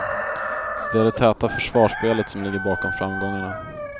De är det täta försvarsspelet som ligger bakom framgångarna.